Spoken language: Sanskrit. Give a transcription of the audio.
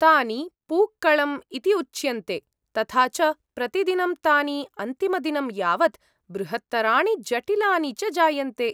तानि पूक्कळम् इति उच्यन्ते, तथा च प्रतिदिनं तानि अन्तिमदिनं यावत् बृहत्तराणि जटिलानि च जायन्ते।